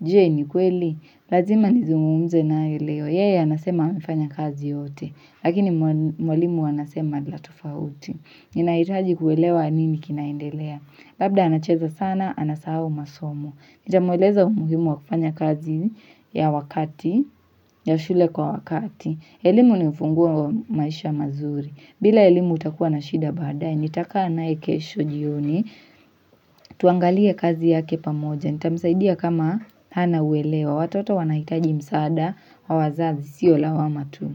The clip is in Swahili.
Jee ni kweli, lazima nizungumze na leo. Yeye anasema amefanya kazi yote, lakini mwalimu anasema la tofauti. Ninahitaji kuelewa nini kinaendelea. Labda anacheza sana, anasahau masomo. Nita mueleza umuhimu wakufanya kazi ya wakati, ya shule kwa wakati. Elimu ni ufunguo wa maisha mazuri. Bila elimu utakuwa na shida baadae, nitakaa naye kesho jioni, tuangalie kazi yake pamoja, nitamsaidia kama hana uelewa, watoto wanahitaji msaada, wa wazazi, siyo la wama tu.